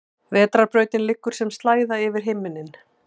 Vetrarbrautin liggur sem slæða yfir himinninn.